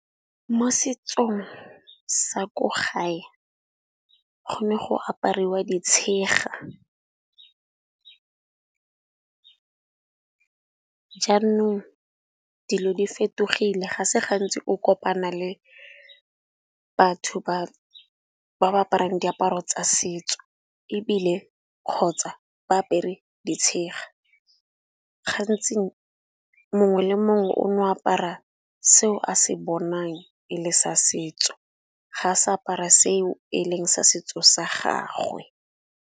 Mo setsong sa ko gae go ne go apariwa ditshega. Jaanong dilo di fetogile ga se gantsi o kopana le batho ba ba aparang diaparo tsa setso ebile, kgotsa ba apere ditshega. Gantsi mongwe le mongwe o no apara seo a se bonang e le sa setso ga sa apara seo e leng sa setso sa gagwe.